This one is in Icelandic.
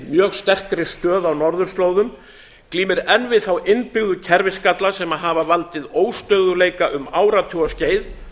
mjög sterkri stöðu á norðurslóðum glímir enn við þá innbyggðu kerfisgalla sem hafa valdið óstöðugleika um áratugaskeið